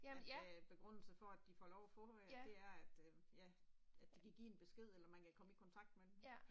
At øh begrundelsen for at de får lov at få øh det er at øh, ja, at de kan give en besked eller man kan komme i kontakt med dem